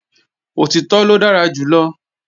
Òtítọ́ ló dára jù lọ